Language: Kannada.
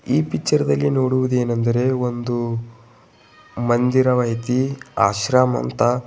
ಈ ಪಿಕ್ಚರ್ ದಲ್ಲಿ ನೋಡುವುದೇನೆಂದರೆ ಒಂದು ಮಂದಿರವ ಐತಿ ಆಶ್ರಮ ಅಂತ.